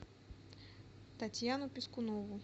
татьяну пискунову